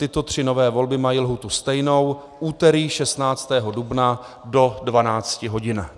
Tyto tři nové volby mají lhůtu stejnou - úterý 16. dubna do 12 hodin.